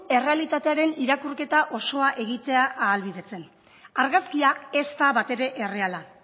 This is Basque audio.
errealitatearen irakurketa osoa egitea ahalbidetzen argazkia ez da batere erreala